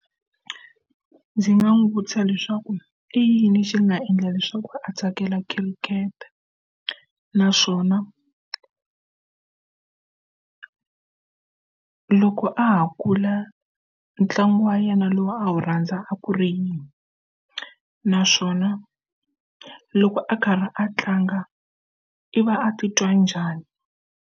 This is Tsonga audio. Ndzi nga n'wi vutisa leswaku i yini xi nga endla leswaku a tsakela khirikete naswona loko a ha kula ntlangu wa yena lowu a wu rhandza a ku ri yini naswona loko a karhi a tlanga i va a ti twa njhani.